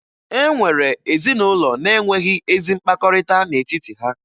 E nwere ezinụlọ na-enweghi ezi mkpakọrịta n'etiti ha